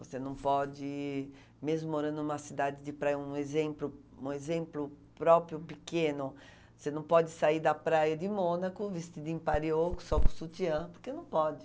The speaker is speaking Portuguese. Você não pode, mesmo morando em uma cidade de praia, um exemplo um exemplo próprio pequeno, você não pode sair da praia de Mônaco vestida em parioco, só com sutiã, porque não pode.